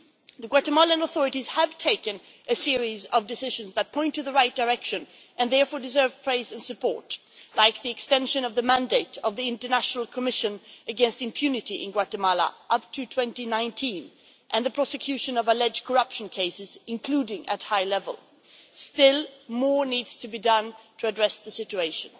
The Guatemalan authorities have taken a series of decisions that point in the right direction and therefore deserve praise and support, such as the extension of the mandate of the International Commission against Impunity in Guatemala up to 2019 and the prosecution of alleged corruption cases, including at high level. Still, more needs to be done to address the situation.